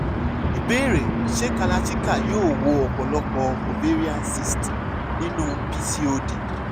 ìbéèrè: ṣé kalarchikai yóò wo ọ̀pọ̀lọpọ̀ ovarian cysts nínú pcod?